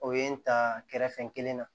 O ye n ta kɛrɛfɛ kelen na